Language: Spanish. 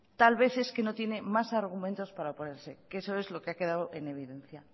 tal vez es que no tiene más argumentos para oponerse que eso es lo que ha quedado en evidencia